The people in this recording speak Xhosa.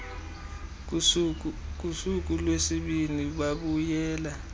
kusuku lwesibini babuyela